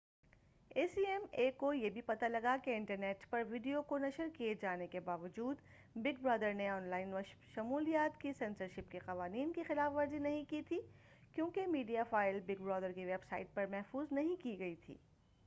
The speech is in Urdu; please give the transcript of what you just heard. اے سی ایم اے کو یہ بھی پتہ لگا کہ انٹرنیٹ پر ویڈیو کو نشر کیے جانے کے باوجود بگ برادر نے آن لائن مشمولات کی سنسرشپ کے قوانین کی خلاف ورزی نہیں کی تھی کیونکہ میڈیا فائل بگ برادر کی ویب سائٹ پر محفوظ نہیں کی گئی تھی